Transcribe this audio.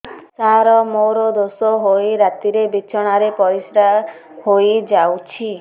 ସାର ମୋର ଦୋଷ ହୋଇ ରାତିରେ ବିଛଣାରେ ପରିସ୍ରା ହୋଇ ଯାଉଛି